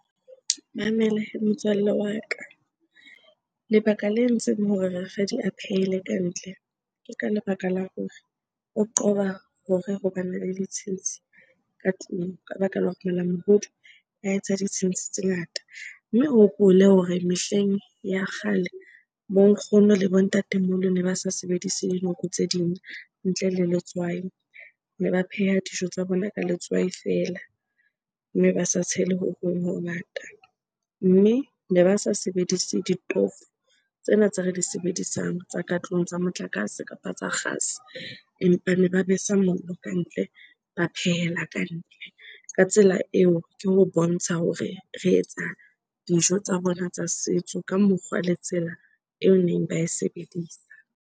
Mamela hee motswalle wa ka. Lebaka le entseng hore rakgadi a phehela ka ntle, ke ka lebaka la hore o qoba hore ho bana le ditshintshi ka tlung ka baka la hore malamohodu a etsa ditshintshi tse ngata. Mme o hopole hore mehleng ya kgale bo nkgono le bo ntatemoholo ne ba sa sebedise dinoko tse ding ntle le letswai, ne ba pheha dijo tsa bona ka letswai feela mme ba sa tshele ho hong ngata. Mme ne ba sa sebedise ditofo tsena tse re di sebedisang tsa ka tlung tsa motlakase kapa tsa kgase, empa ne ba besa mollo kantle, ba phehela kantle. Ka tsela eo, ke ho bontsha hore re etsa dijo tsa bona tsa setso ka mokgwa le tsela eo neng ba e sebedisa.